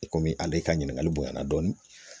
I komi ale ka ɲininkali bonyana dɔɔnin